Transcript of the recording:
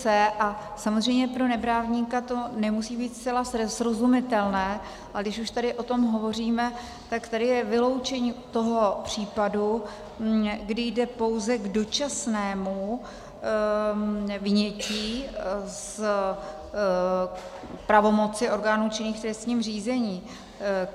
c) a samozřejmě pro neprávníka to nemusí být zcela srozumitelné, ale když už tady o tom hovoříme, tak tady je vyloučení toho případu, kdy jde pouze k dočasnému vynětí z pravomoci orgánů činných v trestním řízení.